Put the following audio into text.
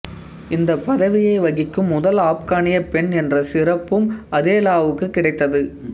இந்த பதவியை வகிக்கும் முதல் ஆப்கானியப் பெண் என்ற சிறப்பும் அதேலாவுக்குக் கிடைத்தது